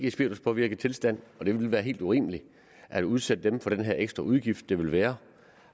i spirituspåvirket tilstand og det ville være helt urimeligt at udsætte dem for den her ekstra udgift det vil være